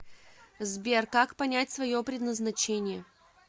сбер как понять свое предназначение